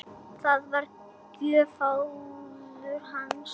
Það var gjöf föður hans.